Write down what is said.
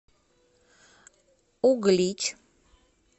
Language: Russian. углич